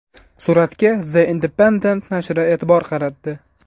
Suratga The Independent narshi e’tibor qaratdi .